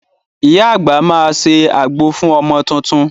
Iya àgbà máa ṣe àgbo fún ọmọ tuntun.